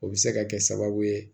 O bɛ se ka kɛ sababu ye